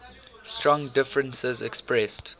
strong differences expressed